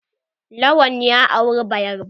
Lawan ya auri bayarba.